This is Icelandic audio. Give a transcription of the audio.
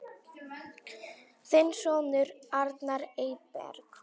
Þinn sonur, Arnar Eyberg.